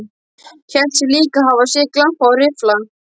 Hélt sig líka hafa séð glampa á riffla.